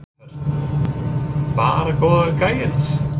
Hödd: Bara góðu gæjarnir?